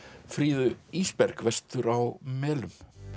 Fríðu Ísberg vestur á melum